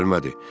Gəlmədi.